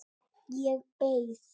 Ég beið.